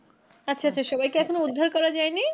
আচ্ছা আচ্ছা সবাইকে এখনো উদ্ধার করা যায়নি.